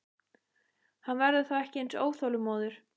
Hann verður þá ekki eins óþolinmóður.